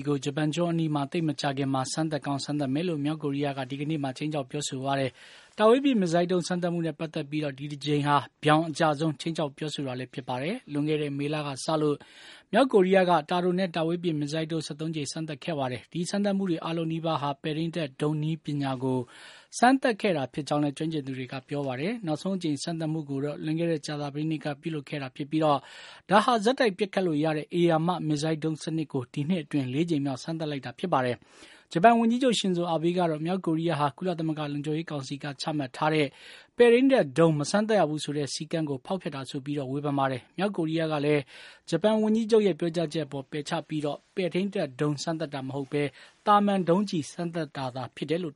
းကျည်ကို ဂျပန်ကျွန်းအနီး သိပ်မကြာခင်မှာ စမ်းသပ်ကောင်း စမ်းသပ်မယ်လို့ မြောက်ကိုရီးယားက စနေနေ့မှာ ခြိမ်းခြောက်ပြောဆိုပါတယ်။ တာဝေးပစ် မစ်ဆိုင်းဒုံးစမ်းသပ်မှုနဲ့ ပတ်သက်ပြီး ဒီတကြိမ်ဟာ တိုက်ရိုက်အကျဆုံး ခြိမ်းခြောက်ပြောဆိုတာလည်း ဖြစ်ပါတယ်။ လွန်ခဲ့တဲ့ မေလကစလို့ မြောက်ကိုရီးယားက တာတိုနဲ့ တာဝေးပစ် မစ်ဆိုင်းဒုံး ၁၃ ကြိမ် စမ်းသပ်ခဲ့ပါတယ်။ ဒီစမ်းသပ်မှုတွေ အားလုံးနီးပါးဟာ ပဲ့ထိန်းတပ် ဒုံးနည်းပညာကို စမ်းသပ်ခဲ့တာဖြစ်ကြောင်းလည်း ကျွမ်းကျင်သူတွေက ပြောပါတယ်။ နောက်ဆုံးအကြိမ် စမ်းသပ်မှုကိုတော့ လွန်ခဲ့တဲ့ ကြာသပတေးနေ့က ပြုလုပ်ခဲ့တာဖြစ်ပြီး ဒါဟာ ဆက်တိုက်ပစ်ခတ်လို့ရတဲ့ ဧရာမမစ်ဆိုင်းဒုံးစနစ်ကို ဒီနှစ်အတွင်း ၄ ကြိမ်မြောက် စမ်းသပ်ခဲ့တာပါ။ ဂျပန်ဝန်ကြီးချုပ် ရှင်ဇိုအာဘေးကတော့ မြောက်ကိုရီးယားဟာ ကုလသမဂ္ဂ လုံခြုံရေးကောင်စီက ချမှတ်ထားတဲ့ ပဲထိန်းတပ်ဒုံး မစမ်းသပ်ရဘူးဆိုတဲ့ စည်းကမ်းချက်ကို ဖောက်ဖျက်တာဆိုပြီး ပြစ်တင်ဝေဖန်ပါတယ်။ မြောက်ကိုရီးယားကလည်း ဂျပန်ဝန်ကြီးချုပ်ရဲ့ ပြောကြားချက်အပေါ် ပယ်ချပြီး ပဲထိန်းတပ်ဒုံး စမ်းသပ်တာမဟုတ်ဘဲ သာမန်ဒုံးကျည် စမ်းသပ်တာသာဖြစ်တယ်လို့